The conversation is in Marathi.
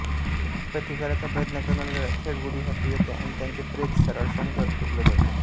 प्रतिकाराचा प्रयत्न करणाऱ्याला थेट गोळी घातली जातेय आणि त्याचे प्रेत सरळ समुद्रात फेकल जातेय